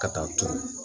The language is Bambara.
Ka taa turu